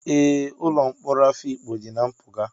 Ee, ụlọ mkpọrọ Afikpo dị na mpụga.